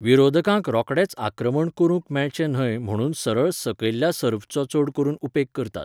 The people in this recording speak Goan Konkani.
विरोधकांक रोखडेंच आक्रमण करूंक मेळचें न्हय म्हणून सरळ सकयल्ल्या सर्व्हचो चड करून उपेग करतात.